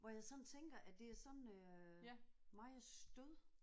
Hvor jeg sådan tænker at det er sådan øh meget stød